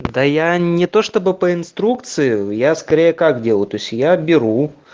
да я не то чтобы по инструкции я скорее как делаю то есть я беру